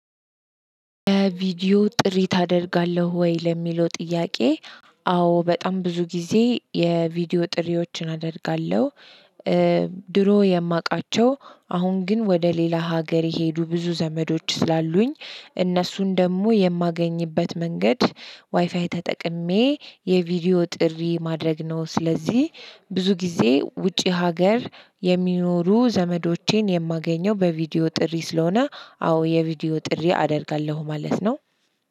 ቪዲዮ ጥሪ ታደርጋለህ ወይ ለሚለው ጥያቄ አዎ በጣም ብዙ ጊዜ የቪዲዮ ጥሪዎችን አደርጋለሁ። ድሮ የማውቃቸው አሁን ግን ወደ ሌላ ሀገር የሄዱ ብዙ ዘመዶች ስላሉኝ እነሱን ደግሞ የማገኝበት መንገድ ዋይፋይ ተጠቅሜ የቪዲዮ ጥሪ ማድረግ ነው። ስለዚህ ብዙ ጊዜ ውጪ ሀገር የሚኖሩ ዘመዶቼን የማገኘው በቪዲዮ ጥሪ ስለሆነ አዎ የቪዲዮ ጥሪ አደርጋለሁ ማለት ነው።